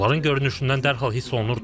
Onların görünüşündən dərhal hiss olunurdu.